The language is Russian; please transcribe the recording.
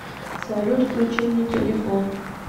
салют включи мне телефон